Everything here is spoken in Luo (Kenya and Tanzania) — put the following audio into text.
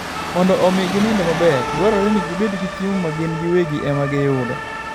Mondo omi ginind maber, dwarore ni gibed gi chiemo ma gin giwegi ema giyudi.